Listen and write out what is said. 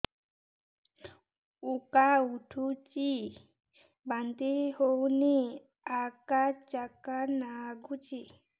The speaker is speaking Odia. ଉକା ଉଠୁଚି ବାନ୍ତି ହଉନି ଆକାଚାକା ନାଗୁଚି